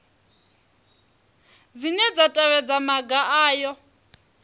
dzine dza tevhedza maga aya